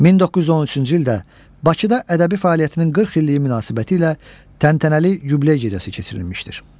1913-cü ildə Bakıda ədəbi fəaliyyətinin 40 illiyi münasibətilə təntənəli yubiley gecəsi keçirilmişdir.